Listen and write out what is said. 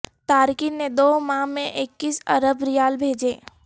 تارکین نے دو ماہ میں اکیس ارب ریال بھیجے